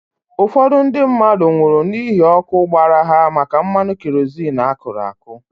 Ụfọdụ ndị mmadụ nwụrụ n'ihi ọkụ gbara ha maka mmanụ kerozin akụrụ àkụ́.